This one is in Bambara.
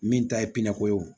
Min ta ye pinɛko ye o